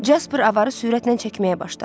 Jasper avarı sürətlə çəkməyə başladı.